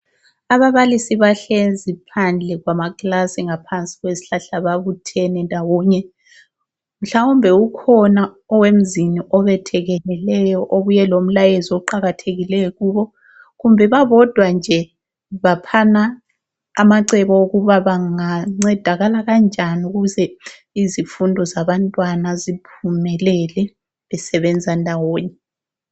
Ababalisi bahlezi phandle kwamakilasi ngaphansi kwezihlahla babuthene ndawonye mhlawumbe ukhona owemzini obethekeleleyo obuye lomlayezo oqakathekileyo kubo. Kumbe babodwa nje baphana amacebo okuba bengancedakala kanjani ukuze izifundo zabantwana ziphumelele, besebenza ndawonye.